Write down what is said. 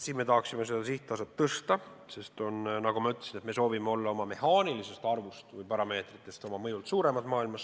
Me tahaksime seda sihttaset tõsta, sest nagu ma ütlesin, me soovime olla oma mõjult maailmas suurem, kui meie parameetrid eeldavad.